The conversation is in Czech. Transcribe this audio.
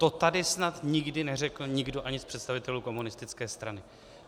To tady snad nikdy neřekl nikdo ani z představitelů komunistické strany.